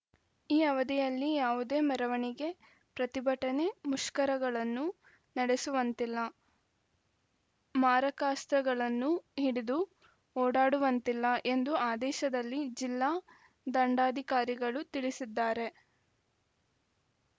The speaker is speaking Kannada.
ಈ ಅವಧಿಯಲ್ಲಿ ಯಾವುದೇ ಮೆರವಣಿಗೆ ಪ್ರತಿಭಟನೆ ಮುಷ್ಕರಗಳನ್ನು ನಡೆಸುವಂತಿಲ್ಲ ಮಾರಕಾಸ್ತ್ರಗಳನ್ನು ಹಿಡಿದು ಓಡಾಡುವಂತಿಲ್ಲ ಎಂದು ಆದೇಶದಲ್ಲಿ ಜಿಲ್ಲಾ ದಂಡಾಧಿಕಾರಿಗಳು ತಿಳಿಸಿದ್ದಾರೆ